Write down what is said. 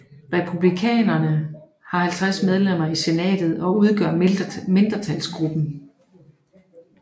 Republikanerne har 50 medlemmer i Senatet og udgør mindretalsgruppen